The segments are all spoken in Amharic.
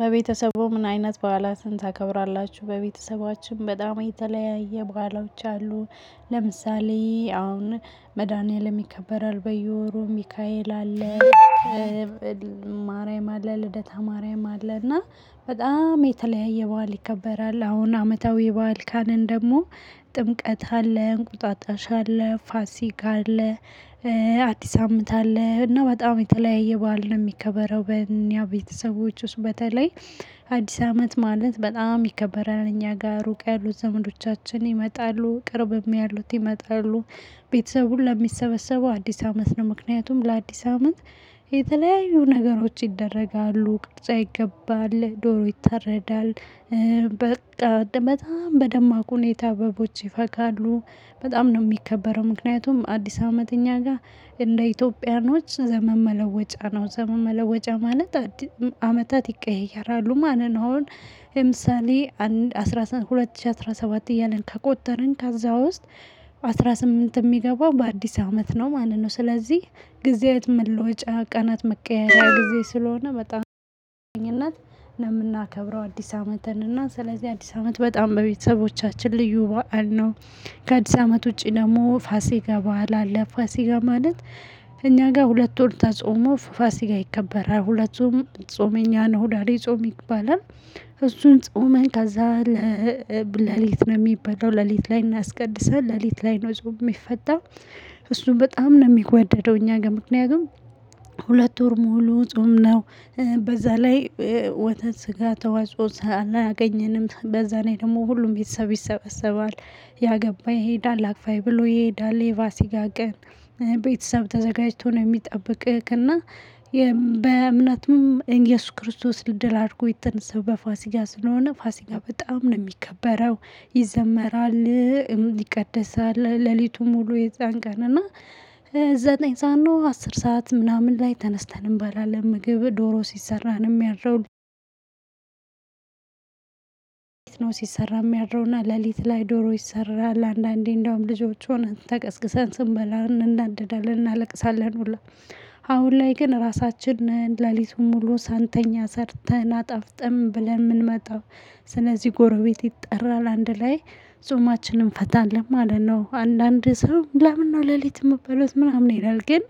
በቤተሰቡ ምን አይነት በዓላትን ታከብራላችሁ? በቤተሰባችን በጣም የተለያየ በዓሎዎች አሉ። ለምሳሌ አሁን መድኃኒዓለም ይከበራል በየወሩ ሚካኤል አለ። ቅብ ማርያም አለ። ልደታ ማርያም አለ። እና በጣም የተለያየ በዓል ይከበራል። አሁን አመታዊ በዓል ካልነ ደግሞ። ጥምቀት አለ እንቁጣጣሽ አለ ፋሲካ አለ አዲስ አመት አለ እና በጣም የተለያየ በዓል ነው የሚከበረው። በእኛ ቤተሰቦች ውስጥ በተለይ አዲስ አመት ማለት በጣም ይከበራል። እኛ ጋር ሩቅ ያሉት ዘመዶቻችን ይመጣሉ ቅርብም ያሉት ይመጣሉ። ቤተሰቡን ሁላ ሚሰበሰቡው አዲስ አመት ነው። ምክንያቱም ለአዲስ አመት የተለያዩ ነገሮች ይደረጋሉ ቅርጫ ይገባል ዶሮ ይተረዳል። በቃ በጣም በደማቁ ሁኔታ አበቦች ይፈካሉ። በጣም ነው የሚከበረው ምክንያቱም አዲስ አመት እኛ ጋር እንደ ኢትዮጵያኖች ዘመን መለወጫ ነው። ዘመን መለወጫ ማለት አመታት ይቀየራሉ። ማን ነው አሁን? ለምሳሌ አንድ አስራ ሁለት ሺህ አስራ ሰባት እያልን ከቆጠርን ከዛ ውስጥ አስራ ስምንት የሚገባው በአዲስ አመት ነው ማለት ነው። ስለዚህ ጊዜያት መሎጫ ቀናት መቀየሪያ ጊዜ ስለሆነ በጣም እናት ለምናከብረው አዲስ አመትን እና ስለዚህ አዲስ አመት በጣም በቤተሰቦቻችን ልዩ በዓል ነው። ከአዲስ አመት ውጪ ደግሞ ፋሲካ በዓል አለ። ፋሲካ ማለት እኛ ጋር ሁለት ወር ተጾሞ ፋሲካ ይከበራል። ሁለቱም ጾመኛ ነው ሁዳዴ ጾም ይባላል። እሱን ጾም ከዛ ሌሊት ነው የሚበላው ሌሊት ላይ እናስቀድሳለን ሌሊት ላይ ነው ጾም የሚፈታ። እሱን በጣም ነው የሚዋደደው። እኛ ጋር ምክንያቱም ሁለት ወር ሙሉ ጾም ነው። በዛ ላይ ወተት ስጋ ተዋጾ አላገኘንም በዛ ላይ ደግሞ ሁሉም ቤተሰብ ይሰበሰባል። ያገባ ይሄዳል አክፋይ ብሎ ይሄዳል የፋሲካ ቀን ቤተሰብ ተዘጋጅቶ ነው የሚጠብቅህ። እና በእምነትም እንግዲህ እየሱስ ክርስቶስ ድል አድርጎ የተነሳው በፋሲካ ስለሆነ ፋሲካ በጣም ነው የሚከበረው። ይዘመራል ይቀደሳል ሌሊቱ ሙሉ የዛን ቀን እና። ዘጠኝ ሰዓት ነው አስር ሰዓት ምናምን ላይ ተነስተን እንባላለን ምግብ ዶሮ ሲሰራንም ነው ምያድረው። ነው ሲሰራም የሚያድረውና ሌሊት ላይ ዶሮ ይሰራል። አንዳንዴ እንደውም ልጆች ሆነን ተቀስቅሰን ስንበላ እንናደዳለን እናለቅሳለን ሁሉ። አሁን ላይ ግን ራሳችን ሌሊቱን ሙሉ ሳንተኛ ሰርተን አጣፍጥም ብለን የምንመጣው። ስለዚህ ጎረቤት ይጠራል አንድ ላይ ጾማችንን እንፈታለን ማለት ነው። አንዳንድ ሰው ለምን ነው ለሊት የምበለው ምናምን ይላል። ግን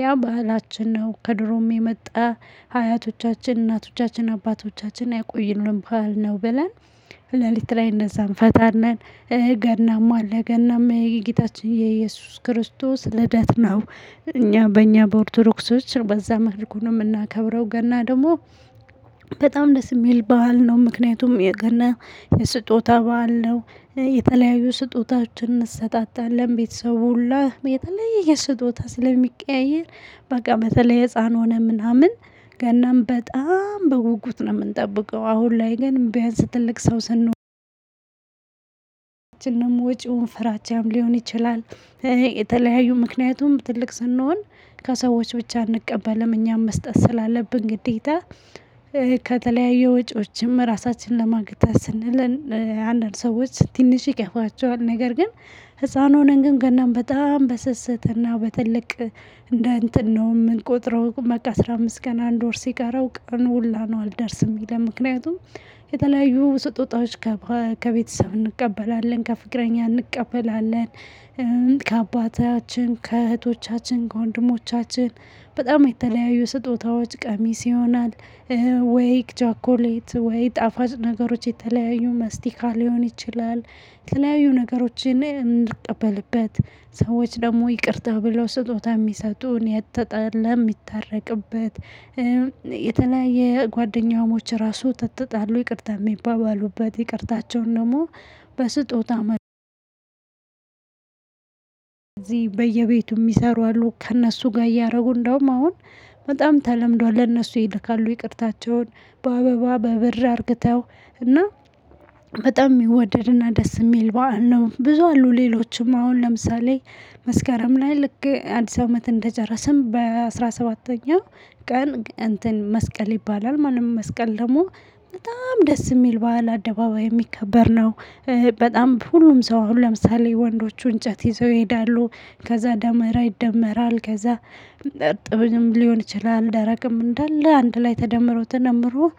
ያ ባህላችን ነው። ከድሮም የመጣ ሀያቶቻችን እናቶቻችን አባቶቻችን ያቆዩልን ባህል ነው። ብለን ሌሊት ላይ እነዛን እፈታለን። እ ገናም አለ። እ ገናም የጌታችን የኢየሱስ ክርስቶስ ልደት ነው። እኛ በእኛ በኦርቶዶክሶች በዛ መልኩ እምናከብረው ገና ደግሞ በጣም ደስ የሚል በዓል ነው። ምክንያቱም የገና የስጦታ በዓል ነው። የተለያዩ ስጦታዎችን እንሰጣጣለን ቤተሰቡ ሁላ የተለየ የስጦታ ስለሚቀያየር በቃ ላይ ህፃን ሆነ ምናምን ገናን በጣም በጉጉት ነው የምንጠብቀው። አሁን ላይ ግን ቢያንስ ትልቅ ሰው ስንሆን እንደውም ወጪውን ፍራቻም ሊሆን ይችላል። የተለያዩ ምክንያቱም ትልቅ ስንሆን ከሰዎች ብቻ አንቀበልም እኛም መስጠት ስላለብን ግዴታ። ከተለያዩ ወጪዎችም ራሳችንን ለማግተስ ስንል። አንዳንድ ሰዎች ትንሽ ይከፋቸዋል ነገር ግን። ህፃን ሆነን ግን ገናም በጣም በስስት እና በትልቅ እንደ እንትን ነው የምንቆጥረው። በቃ አስራ አምስት ቀን አንድ ወር ሲቀረው ቀን ሁላ ነው አልደርስም የሚለኝ ምክንያቱም። የተለያዩ ስጦታዎች ከቤተሰብ እንቀበላለን ከፍቅረኛ እንቀበላለን። ከአባታችን ከእህቶቻችን ከወንድሞቻችን በጣም የተለያዩ ስጦታዎች ቀሚስ ይሆናል። ወይ ቸኮሌት ወይ ጣፋጭ ነገሮች የተለያዩ ማስቲካ ሊሆን ይችላል። የተለያዩ ነገሮችን እንድንቀበልበት ሰዎች ደግሞ ይቅርታ ብለው ስጦታ የሚሰጡን የተጣለ የሚታረቅበት። የተለያየ ጓደኛሞች ራሱ ከተጣሉ ይቅርታ የሚባባሉበት ይቅርታቸውን ደግሞ። በስጦታ። መርጠው ከዚህ በየቤቱ የሚሰሩ አሉ። ከእነሱ ጋር እያደረጉ እንደውም አሁን በጣም ተለምዷል ለእነሱ ይልካሉ ይቅርታቸውን። በአበባ በብር አርግተው። እና በጣም ይወደድና ደስ የሚል በዓል ነው። ብዙ አሉ። ሌሎችም አሁን ለምሳሌ መስከረም ላይ ልክ አዲስ አመት እንደጨረስን በአሥራ ሰባተኛው ቀን እንትን መስቀል ይባላል ማለት ነው። መስቀል ደግሞ በጣም ደስ የሚል በዓል አደባባይ የሚከበር ነው። በጣም ሁሉም ሰው አሁን ለምሳሌ ወንዶቹ እንጨት ይዘው ይሄዳሉ። ከዛ ደመራ ይደመራል ከዛ። እርጥብ ሊሆን ይችላል ደረቅም እንዳለ አንድ ላይ ተደምሮ ተነምሮ